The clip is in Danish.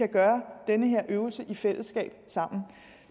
gør den her øvelse i fællesskab